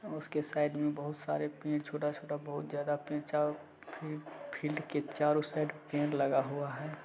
उसके साइड में बहुत सारे पेड़ छोटा-छोटा बहुत ज्यादा फील्ड की चारों साइड पेड़ लगा हुआ है।